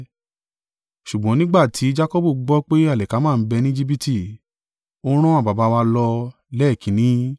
Ṣùgbọ́n nígbà tí Jakọbu gbọ́ pé alikama ń bẹ ni Ejibiti, ó rán àwọn baba wa lọ lẹ́ẹ̀kínní.